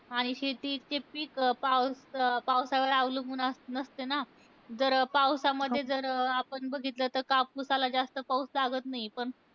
आणि शेती इतके पिक पावस पावसावर अवलंबून अस नसते ना. जर पावसामध्ये जर आपण बघितलं तर कापुसाला जास्त पाऊस लागत नाही. पण